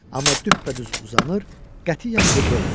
Amma düppədüz uzanır, qətiyyən qıvrılmırdı.